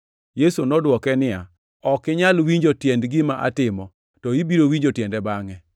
Yesu nodwoke niya, “Ok inyal winjo tiend gima atimo, to ibiro winjo tiende bangʼe.”